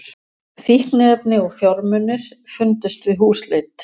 Fíkniefni og fjármunir fundust við húsleit